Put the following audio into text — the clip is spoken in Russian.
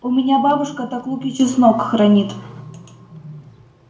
у меня бабушка так лук и чеснок хранит